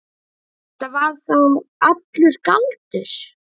Þetta var þá allur galdur.